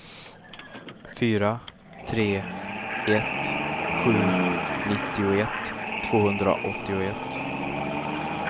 fyra tre ett sju nittioett tvåhundraåttioett